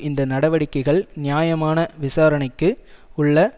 இந்த நடவடிக்கைகள் நியாயமான விசாரணைக்கு உள்ள